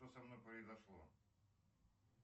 что со мной произошло